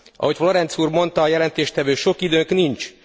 Ahogy Florenz úr mondta, a jelentéstevő sok időnk nincs.